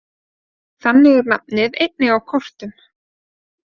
Þannig er nafnið einnig á kortum.